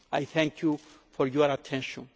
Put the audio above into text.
Thank you for your attention.